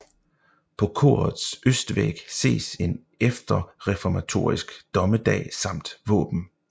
På korets østvæg ses en efterreformatorisk Dommedag samt våben